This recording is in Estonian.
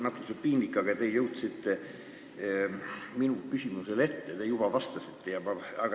Mul on natuke piinlik, sest te jõudsite minu küsimusest ette ja juba vastasite.